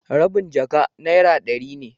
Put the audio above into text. rabin jaka naira dari ne.